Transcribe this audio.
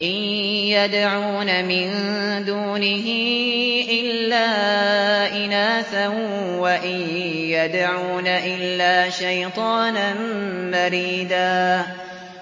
إِن يَدْعُونَ مِن دُونِهِ إِلَّا إِنَاثًا وَإِن يَدْعُونَ إِلَّا شَيْطَانًا مَّرِيدًا